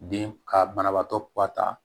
Den ka banabaatɔ ba ta